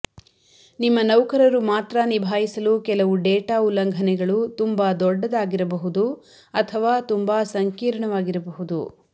ನಿಮ್ಮ ನೌಕರರು ಮಾತ್ರ ನಿಭಾಯಿಸಲು ಕೆಲವು ಡೇಟಾ ಉಲ್ಲಂಘನೆಗಳು ತುಂಬಾ ದೊಡ್ಡದಾಗಿರಬಹುದು ಅಥವಾ ತುಂಬಾ ಸಂಕೀರ್ಣವಾಗಿರಬಹುದು